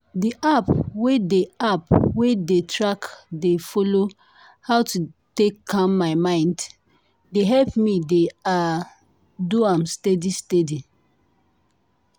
di app wey dey app wey dey tack dey follow how to take calm my mind dey help me dey ah! do am steady steady.